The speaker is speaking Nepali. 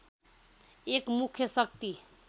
एक मुख्य शक्ति